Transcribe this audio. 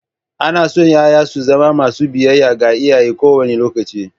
Ana so ƴaƴa su zamo masu biyayya ga iyaye kowane lokaci.